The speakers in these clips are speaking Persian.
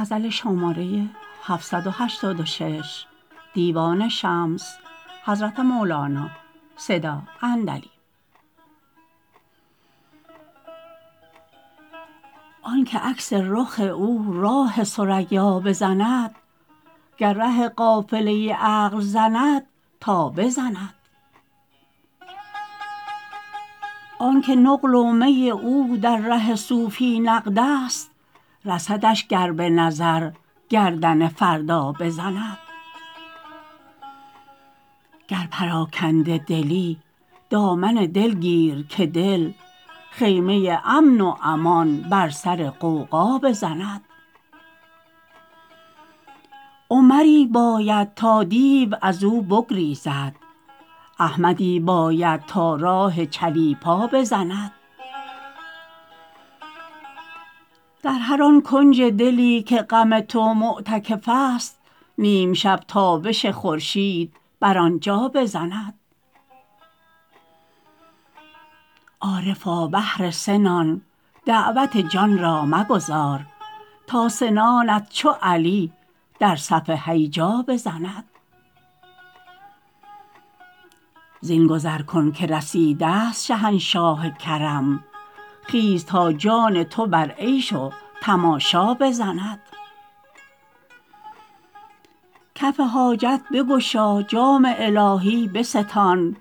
آنک عکس رخ او راه ثریا بزند گر ره قافله عقل زند تا بزند آنک نقل و می او در ره صوفی نقدست رسدش گر به نظر گردن فردا بزند گر پراکنده دلی دامن دل گیر که دل خیمه امن و امان بر سر غوغا بزند عمری باید تا دیو از او بگریزد احمدی باید تا راه چلیپا بزند در هر آن کنج دلی که غم تو معتکفست نیم شب تابش خورشید بر آن جا بزند عارفا بهر سه نان دعوت جان را مگذار تا سنانت چو علی در صف هیجا بزند زین گذر کن که رسیدست شهنشاه کرم خیز تا جان تو بر عیش و تماشا بزند کف حاجت بگشا جام الهی بستان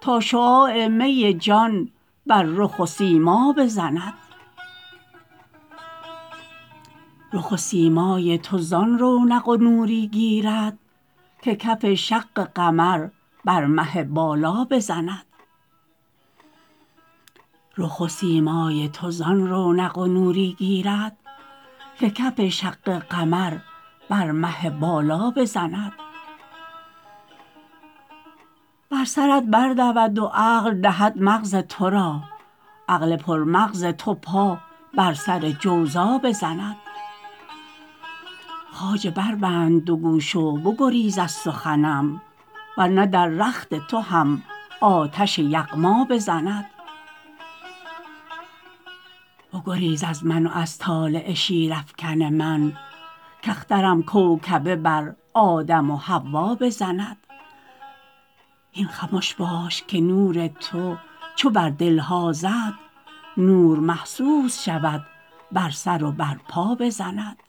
تا شعاع می جان بر رخ و سیما بزند رخ و سیمای تو زان رونق و نوری گیرد که کف شق قمر بر مه بالا بزند بر سرت بردود و عقل دهد مغز تو را عقل پرمغز تو پا بر سر جوزا بزند خواجه بربند دو گوش و بگریز از سخنم ور نه در رخت تو هم آتش یغما بزند بگریز از من و از طالع شیرافکن من کاخترم کوکبه بر آدم و حوا بزند هین خمش باش که نور تو چو بر دل ها زد نور محسوس شود بر سر و بر پا بزند